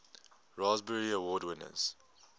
raspberry award winners